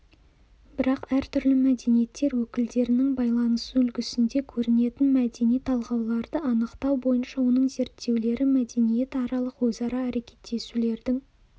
бірақ әртүрлі мәдениеттер өкілдерінің байланысу үлгісінде көрінетін мәдени талғауларды анықтау бойынша оның зерттеулері мәдениетаралық өзара әрекеттесулердің